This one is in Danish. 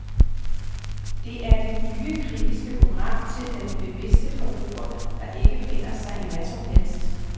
Det er det nye, kritiske program til den bevidste forbruger, der ikke finder sig i hvad som helst.